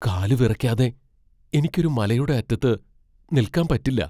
കാലുവിറയ്ക്കാതെ എനിക്ക് ഒരു മലയുടെ അറ്റത്ത് നിൽക്കാൻ പറ്റില്ല .